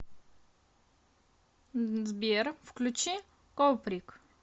сбер включи коприк